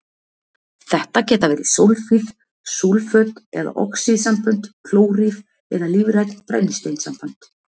Þetta geta verið súlfíð, súlföt eða oxíðsambönd, klóríð eða lífræn brennisteinssambönd.